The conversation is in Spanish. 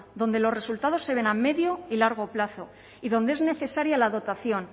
donde los resultados se ven a medio y largo plazo y donde es necesaria la dotación